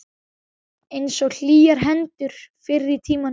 Einsog hlýjar hendurnar fyrr í tímanum.